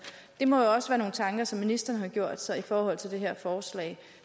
det må jo også være nogle tanker som ministeren har gjort sig i forhold til det her forslag